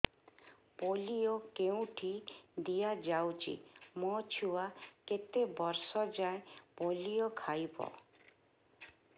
polio କେଉଁଠି ଦିଆଯାଉଛି ମୋ ଛୁଆ କେତେ ବର୍ଷ ଯାଏଁ ପୋଲିଓ ଖାଇବ